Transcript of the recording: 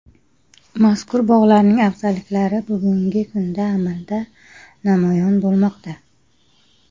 Mazkur bog‘larning afzalliklari bugungi kunda amalda namoyon bo‘lmoqda.